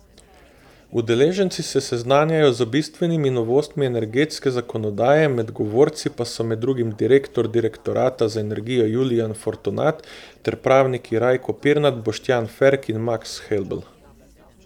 Udeleženci se seznanjajo z bistvenimi novostmi energetske zakonodaje, med govorci pa so med drugim direktor direktorata za energijo Julijan Fortunat ter pravniki Rajko Pirnat, Boštjan Ferk in Maks Helbl.